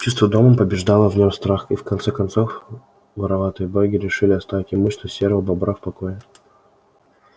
чувство дома побеждало в нем страх и в конце концов вороватые боги решили оставить имущество серого бобра в покое